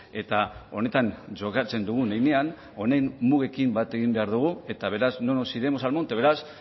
eta honetan jokatzen dugun heinean honen mugekin bat egin behar dugu eta beraz no nos iremos al monte beraz